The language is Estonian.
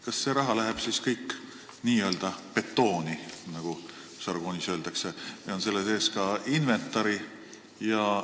Kas see raha läheb kõik n-ö betooni, nagu žargoonis öeldakse, või on selle sees ka inventari maksumus?